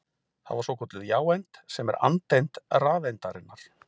Það var svokölluð jáeind sem er andeind rafeindarinnar.